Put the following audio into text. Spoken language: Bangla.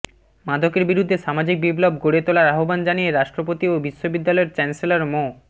মাদকের বিরুদ্ধে সামাজিক বিপ্লব গড়ে তোলার আহ্বান জানিয়ে রাষ্ট্রপতি ও বিশ্ববিদ্যালয়ের চ্যান্সেলর মো